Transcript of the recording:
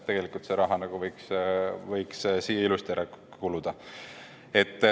Tegelikult see raha võiks siia ilusti ära kuluda.